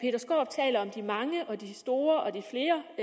i mange og de store og de flere